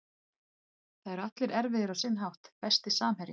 Það eru allir erfiðir á sinn hátt Besti samherjinn?